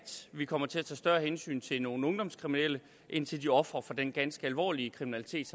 vi kommer til at tage større hensyn til nogle ungdomskriminelle end til de ofre for den ganske alvorlige kriminalitet